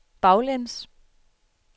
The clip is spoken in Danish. baglæns